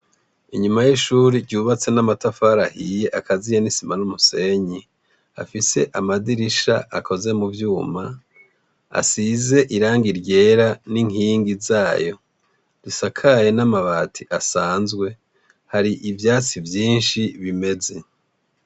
Inyuma y'ishuri ryubatse n'amatafarahiye akaziye n'isima n'umusenyi afise amadirisha akoze mu vyuma asize iranga ryera n'inkingi zayo risakaye n'amabati asanzwe hari ivyatsi vyinshi bimeze.